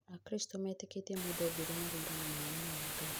Akristo metĩkĩtie mũndũ ombirwo na thura na mũhanano wa Ngai